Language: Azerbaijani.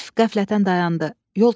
Əlif qəflətən dayandı.